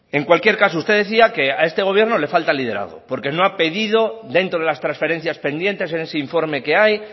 en cualquier caso usted decía que a este gobierno le falta liderazgo porque no ha pedido dentro de las transferencias pendientes en ese informe que hay